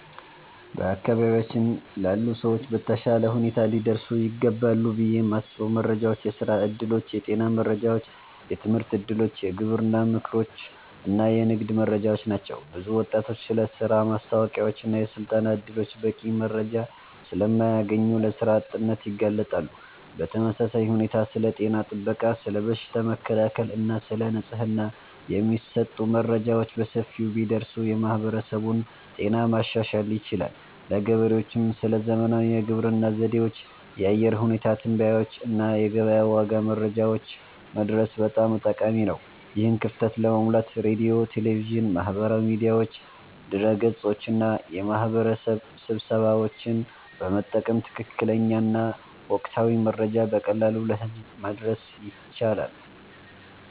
በአካባቢያችን ላሉ ሰዎች በተሻለ ሁኔታ ሊደርሱ ይገባሉ ብዬ የማስበው መረጃዎች የሥራ ዕድሎች፣ የጤና መረጃዎች፣ የትምህርት እድሎች፣ የግብርና ምክሮች እና የንግድ መረጃዎች ናቸው። ብዙ ወጣቶች ስለ ሥራ ማስታወቂያዎችና የሥልጠና ዕድሎች በቂ መረጃ ስለማያገኙ ለሥራ አጥነት ይጋለጣሉ። በተመሳሳይ ሁኔታ ስለ ጤና ጥበቃ፣ ስለ በሽታ መከላከል እና ስለ ንጽህና የሚሰጡ መረጃዎች በሰፊው ቢደርሱ የማህበረሰቡን ጤና ማሻሻል ይቻላል። ለገበሬዎችም ስለ ዘመናዊ የግብርና ዘዴዎች፣ የአየር ሁኔታ ትንበያዎች እና የገበያ ዋጋ መረጃዎች መድረስ በጣም ጠቃሚ ነው። ይህን ክፍተት ለመሙላት ሬዲዮ፣ ቴሌቪዥን፣ ማህበራዊ ሚዲያዎች፣ ድረ-ገጾች እና የማህበረሰብ ስብሰባዎችን በመጠቀም ትክክለኛና ወቅታዊ መረጃ በቀላሉ ለህዝብ ማድረስ ይቻላል